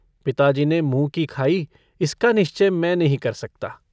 पिताजी ने मुँह की खाई, इसका निश्चय मैं नहीं कर सकता।